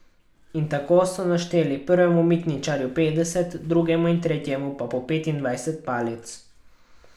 In tako so našteli prvemu mitničarju petdeset, drugemu in tretjemu pa po petindvajset palic.